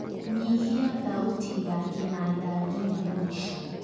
nyihia thauti ya kĩnada nginya mũico